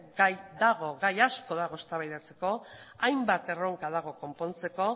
gai asko dago eztabaidatzeko hainbat erronka dago konpontzeko